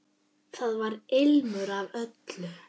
Þar var ilmur af öllu.